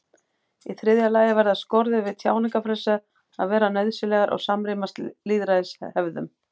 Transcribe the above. Í þriðja lagi verða skorður við tjáningarfrelsi að vera nauðsynlegar og samrýmast lýðræðishefðum.